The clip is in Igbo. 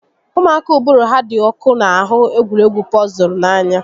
Ụmụaka uụbụrụ ha dị ọkụ n'ahụ egwuregwu pọzụl n'anya